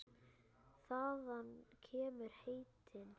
Þaðan kemur heitið.